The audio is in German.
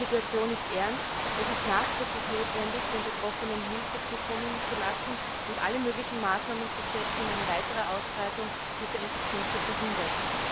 Die Situation ist ernst. Es ist dringend notwendig, den Betroffenen Hilfe zukommen zu lassen und alle möglichen Maßnahmen zu ergreifen, um eine weitere Ausbreitung dieser Infektion zu verhindern.